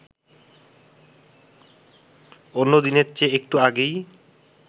অন্য দিনের চেয়ে একটু আগেই